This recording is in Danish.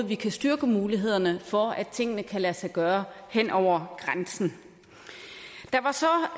vi kan styrke mulighederne for at tingene kan lade sig gøre hen over grænsen der var så